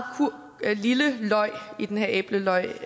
lille løg i den her æble løg